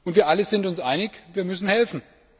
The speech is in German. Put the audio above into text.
Wir alle sind uns einig Wir müssen helfen.